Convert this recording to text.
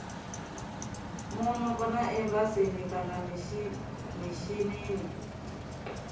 muno kana embasini kana mishinini